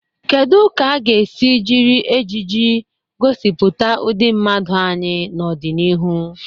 Kedu ka a ga-esi jiri ejiji gosipụta ụdị mmadụ anyị n'ọdịnihu?